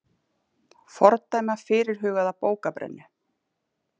Fordæma fyrirhugaða bókabrennu